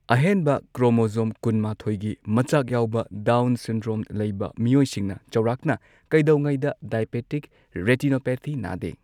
ꯑꯍꯦꯟꯕ ꯀ꯭ꯔꯣꯃꯣꯖꯣꯝ ꯀꯨꯟ ꯃꯥꯊꯣꯏ ꯒꯤ ꯃꯆꯥꯛ ꯌꯥꯎꯕ ꯗꯥꯎꯟ ꯁꯤꯟꯗ꯭ꯔꯣꯝ ꯂꯩꯕ ꯃꯤꯑꯣꯏꯁꯤꯡꯅ ꯆꯥꯎꯔꯥꯛꯅ ꯀꯩꯗꯧꯉꯩꯗ ꯗꯥꯏꯑꯦꯕꯦꯇꯤꯛ ꯔꯦꯇꯤꯅꯣꯄꯦꯊꯤ ꯅꯥꯗꯦ꯫